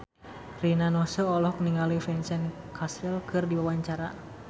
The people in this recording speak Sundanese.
Rina Nose olohok ningali Vincent Cassel keur diwawancara